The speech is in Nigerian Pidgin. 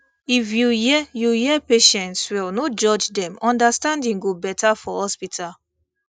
if you hear you hear patients well no judge dem understanding go better for hospital